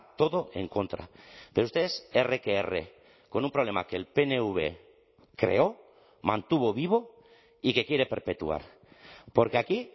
todo en contra pero ustedes erre que erre con un problema que el pnv creó mantuvo vivo y que quiere perpetuar porque aquí